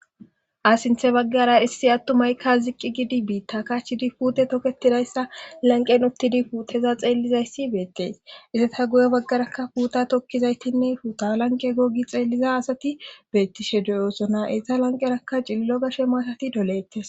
ha sinthe baggara issi attumaykka ziqqi gidi biitta kachidi puute toketidayssa lanqen uttidi puuteza xeellizayssi beettes izata guyo baggarakka puuta tokkizaytinne puta lanqe gogi xeelliza asati beettishe doyoosona esa lanqerakka cillo gashe maatati dolettes.